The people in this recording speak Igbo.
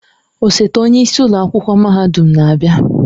Osote onye isi ụlọ akwụkwọ mahadum na-abịa.